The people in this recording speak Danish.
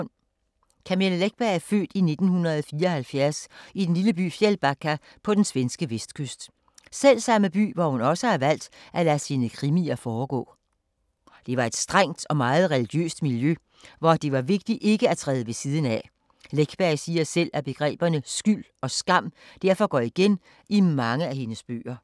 Camilla Läckberg er født i 1974 i den lille by Fjällbacka på den svenske vestkyst. Selvsamme by, hvor hun også har valgt at lade sine krimier foregå. Det var et strengt og meget religiøst miljø, hvor det var vigtigt ikke at træde ved siden af. Läckberg siger selv, at begreberne skyld og skam derfor går igen i mange af hendes bøger.